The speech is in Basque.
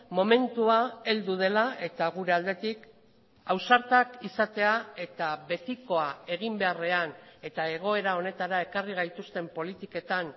momentua heldu dela eta gure aldetik ausartak izatea eta betikoa egin beharrean eta egoera honetara ekarri gaituzten politiketan